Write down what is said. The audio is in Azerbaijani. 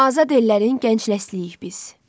Azad ellərin gənc nəsləyiyik biz.